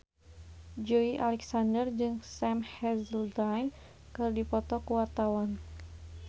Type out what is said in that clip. Joey Alexander jeung Sam Hazeldine keur dipoto ku wartawan